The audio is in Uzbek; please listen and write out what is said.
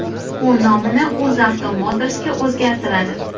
U nomini UzAvto Motors’ga o‘zgartiradi.